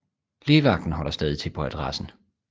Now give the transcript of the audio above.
Lægevagten holder stadig til på adressen